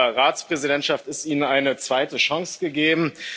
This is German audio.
mit dieser Ratspräsidentschaft ist Ihnen eine zweite Chance gegeben.